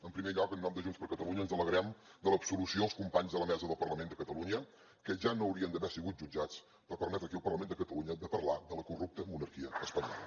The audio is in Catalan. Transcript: en primer lloc en nom de junts per catalunya ens alegrem de l’absolució dels companys de la mesa del parlament de catalunya que ja no haurien d’haver sigut jutjats per permetre aquí al parlament de catalunya de parlar de la corrupta monarquia espanyola